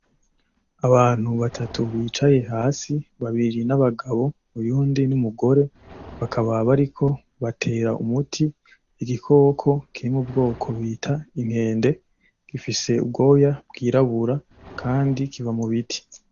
Abantu batatu bicaye hasi, babiri ni abagabo, uwundi ni umugore. Bakaba bariko batera umuti igikoko kiri mu bwoko bita inkende, gifise ubwoya bwirabura kandi kiba mu biti.